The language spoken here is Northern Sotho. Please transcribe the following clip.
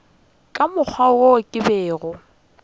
ka mokgwa wo ke bego